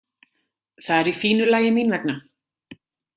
Það er í fínu lagi mín vegna.